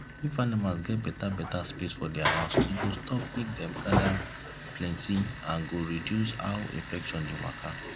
if animals get better better space for thier house e go stop make dem gather plenty and go reduce how infection dey waka